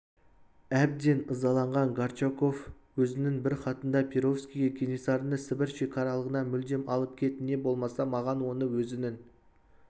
әбден ызаланған горчаков өзінің бір хатында перовскийге кенесарыны сібір шекаралығынан мүлдем алып кет не болмаса маған оны өзінің